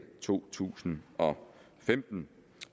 to tusind og femten